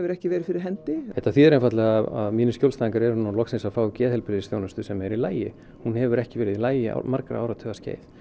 ekki verið fyrir hendi þetta þýðir einfaldlega að mínir skjólstæðingar eru loksins að fá geðheilbrigðisþjónustu sem er í lagi hún hefur ekki verið í lagi um margra áratuga skeið